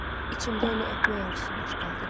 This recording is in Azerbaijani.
İçimdə onu öpmək arzusu baş qaldırır.